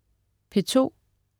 P2: